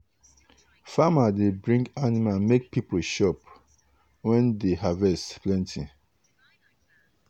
farmer dey bring animal make people chop when dey harvest plenty.